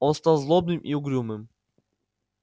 он стал злобным и угрюмым